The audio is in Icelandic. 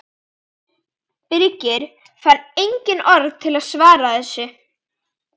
Birkir fann engin orð til að svara þessu.